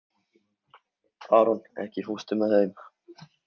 Aron, ekki fórstu með þeim?